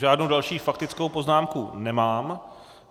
Žádnou další faktickou poznámku nemám.